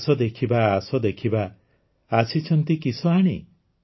ଆସ ଦେଖିବା ଆସ ଦେଖିବା ଆସିଛନ୍ତି କିସ ଆଣି